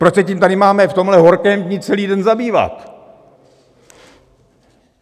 Proč se tím máme tady v tomhle horkém dni celý den zabývat?